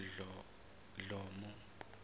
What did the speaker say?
dhlomo